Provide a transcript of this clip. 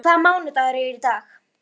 Böddi, hvaða mánaðardagur er í dag?